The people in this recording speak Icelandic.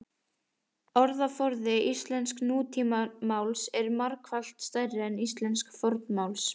orðaforði íslensks nútímamáls er margfalt stærri en íslensks fornmáls